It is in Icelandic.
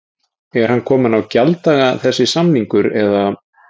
Er hann kominn á gjalddaga þessi samningur eða?